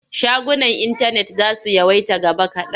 Shagunan intanet za su yawaita gaba kaɗan.